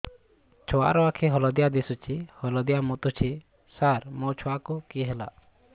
ଛୁଆ ର ଆଖି ହଳଦିଆ ଦିଶୁଛି ହଳଦିଆ ମୁତୁଛି ସାର ମୋ ଛୁଆକୁ କି ହେଲା